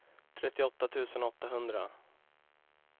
trettioåtta tusen åttahundra